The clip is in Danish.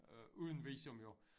Øh uden visum jo